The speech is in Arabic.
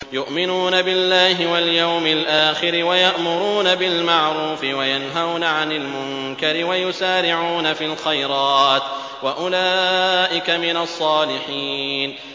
يُؤْمِنُونَ بِاللَّهِ وَالْيَوْمِ الْآخِرِ وَيَأْمُرُونَ بِالْمَعْرُوفِ وَيَنْهَوْنَ عَنِ الْمُنكَرِ وَيُسَارِعُونَ فِي الْخَيْرَاتِ وَأُولَٰئِكَ مِنَ الصَّالِحِينَ